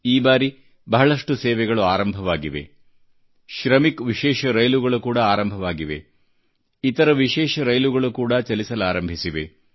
ಈ ಬಾರಿ ಬಹಳಷ್ಟು ಸೇವೆಗಳು ಆರಂಭವಾಗಿದೆ ಶ್ರಮಿಕ್ ವಿಶೇಷ ರೈಲುಗಳು ಕೂಡಾ ಆರಂಭವಾಗಿವೆ ಇತರ ವಿಶೇಷ ರೈಲುಗಳು ಕೂಡಾ ಚಲಿಸಲಾರಂಭಿಸಿವೆ